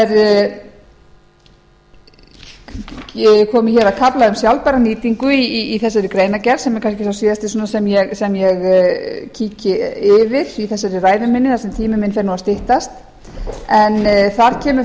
ég er komin að kafla um sjálfbæra nýtingu í þessari greinargerð sem er kannski sá síðasti sem ég baki yfir í þessari ræðu minni þar sem tími minn fer nú að styttast en þar kemur